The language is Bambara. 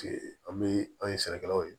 an bɛ an ye sɛnɛkɛlaw ye